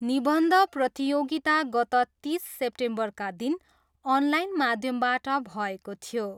निबन्ध प्रतियोगिता गत तिस सेप्टेम्बरका दिन अनलाइन माध्यमबाट भएको थियो।